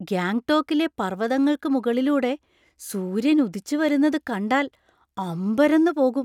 ഗാംഗ്ടോക്കിലെ പർവ്വതങ്ങൾക്ക് മുകളിലൂടെ സൂര്യൻ ഉദിച്ചുവരുന്നത് കണ്ടാൽ അമ്പരന്ന് പോകും.